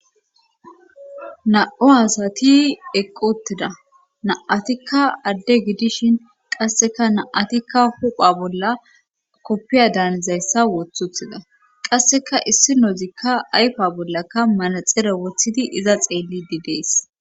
na7o asati eqqi utida naatikka adde gidishin qasseka na7atikka hupha bolla koppiya daanizayssa woththuthida qasseka issi noozikka ayfa bollakka manaxere wothidi iza xeellidi dees